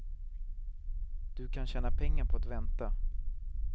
Du kan tjäna pengar på att vänta.